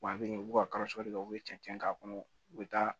Wa a bɛ yen u bɛ ka kɔrɔsiyɔn kɛ u bɛ cɛncɛn k'a kɔnɔ u bɛ taa